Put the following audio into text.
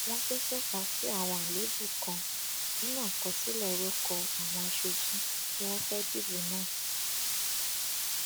wọn tún tọka sí àwọn àléébù kan nínú àkọsílẹ orúkọ àwọn aṣojú tí wọn fẹẹ dìbò náà